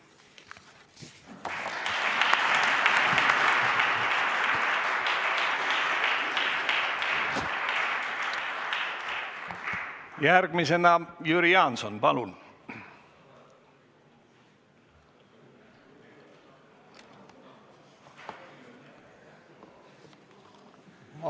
Järgmisena Jüri Jaanson, palun!